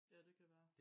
Ja det kan være